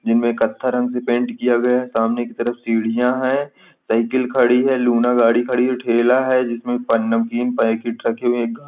जिनमे कत्थई रंग से पेंट किया गया है सामने की तरफ सीढियां है साइकिल खड़ी है लूना गाड़ी खड़ी है ठेला है जिसमे प नाम नमकीन पैकेट रखे हुये है गा --